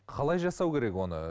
қалай жасау керек оны